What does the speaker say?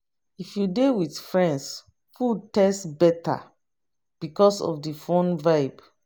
If you dey with friends, food taste better because of the fun vibe.